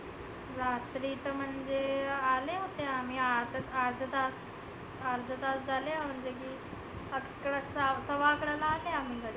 रात्री तर म्हणजे आले होते आम्ही आठच आर्धा तास झालं. आकरा सात सव्वा अकराला आले आम्ही घरी.